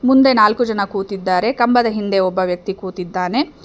ಮುಂದೆ ನಾಲ್ಕು ಜನ ಕೂತಿದ್ದಾರೆ ಕಂಬದ ಹಿಂದೆ ಒಬ್ಬ ವ್ಯಕ್ತಿ ಕೂತಿದಾನೆ.